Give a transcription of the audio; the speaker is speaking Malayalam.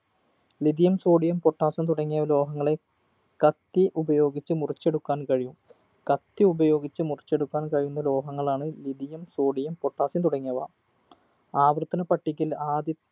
lithium sodium potassium തുടങ്ങിയ ലോഹങ്ങളെ കത്തി ഉപയോഗിച്ച് മുറിച്ചെടുക്കാൻ കഴിയും കത്തി ഉപയോഗിച്ച് മുറിക്കിച്ചെടുക്കാൻ കഴിയുന്ന ലോഹങ്ങളാണ് lithiumsodium potassium തുടങ്ങിയവ ആവർത്തനപ്പട്ടികയിൽ ആദ്യ